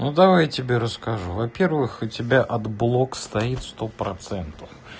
ну давай я тебе расскажу во-первых у тебя отблок стоит сто процентов